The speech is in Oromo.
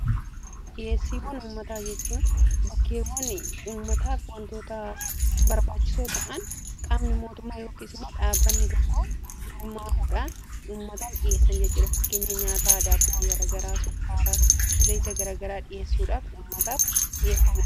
Dhiheessiiwwan ummataa jechuun bakkeewwan ummataa fi wantoota barbaachisoo ta'an qaabni mootummaa yookiis immoo dhaabbanni tokko gurmaahuudhaan ummataaf dhiheessan jechuudhafakkeenya nyaata aadaa garagaraa, sukkaaraa, zayta garagaraa dhiheessuudhaaf ummataaf dhiheeffamudha.